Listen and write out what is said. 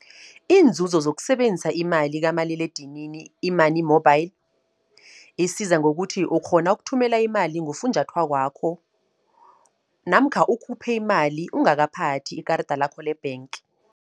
Iinzuzo zokusebenza imali kamaliledinini i-money mobile, isiza ngokuthi, ukghona ukuthumela imali ngofunjathwakwakho. Namkha ukhuphe imali ungakaphathi ikarada lakho le-bank.